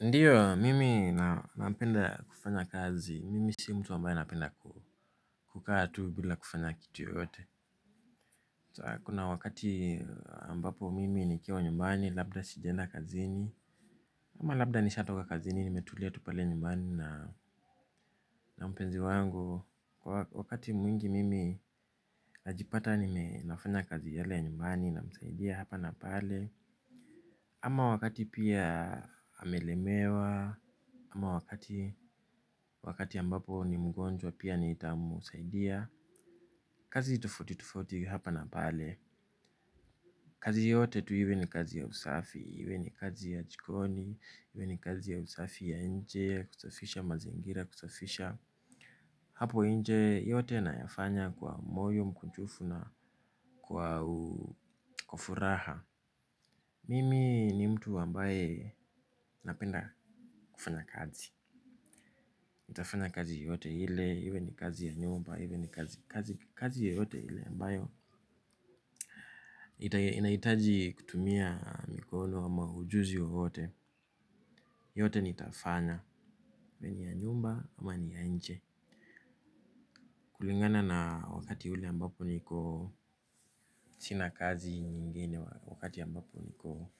Ndiyo, mimi napenda kufanya kazi, mimi si mtu ambaye napenda kukaa tu bila kufanya kitu yoyote. Kuna wakati ambapo mimi nikiwa nyumbani, labda sijaenda kazini. Ama labda nishatoka kazini, nimetulia tu pale nyumbani na mpenzi wangu. Wakati mwingi mimi najipata nime nafanya kazi yale nyumbani namsaidia hapa na pale. Ama wakati pia amelemewa, ama wakati ambapo ni mgonjwa pia nitamsaidia. Kazi tofauti tofauti hapa na pale. Kazi yote tu iwe ni kazi ya usafi, iwe ni kazi ya jikoni, iwe ni kazi ya usafi ya inje. Kusafisha mazingira, kusafisha hapo nje yote nayafanya kwa moyo mkunjufu na kwa furaha. Mimi ni mtu ambaye napenda kufanya kazi. Nitafanya kazi yoyote ile, iwe ni kazi ya nyumba, iwe ni kazi yoyote ile ambayo inahitaji kutumia mikono ama ujuzi wowote. Yote nitafanya, iwe ni ya nyumba ama ni ya nje. Kulingana na wakati ule ambapo niko sina kazi nyingine wakati ambapo niko.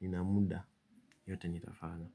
Nina muda, yote nitafanya.